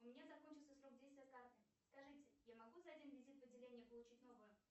у меня закончился срок действия карты скажите я могу за один визит в отделение получить новую